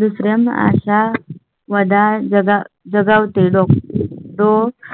दुसऱ्या आशा वदाळ जगावतें दो